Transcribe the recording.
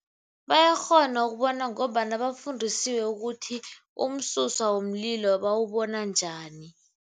Bayakghona ukubona ngombana bafundisiwe ukuthi umsuswa womlilo bawubona njani.